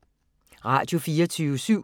Radio24syv